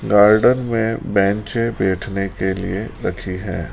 Garden में बैंचें बैठने के लिए रखी हैं।